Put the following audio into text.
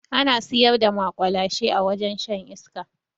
Ana siyar da maƙwalashe a wajen shan iska